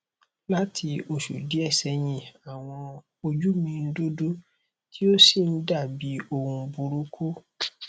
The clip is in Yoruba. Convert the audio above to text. lati osu diẹ̀ sẹ̀yin àwọn oju mi n dudu ti o si n dabi ohun buruku